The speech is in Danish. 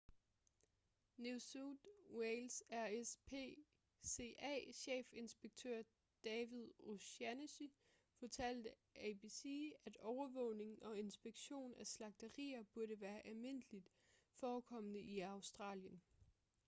new south wales' rspca-chefinspektør david o'shannessy fortalte abc at overvågning og inspektion af slagterier burde være almindeligt forekommende i australien